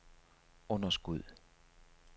underskud